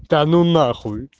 да ну на хуй